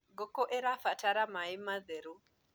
ngũkũ irabatara maĩ matheru